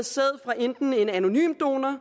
sæd fra enten en anonym donor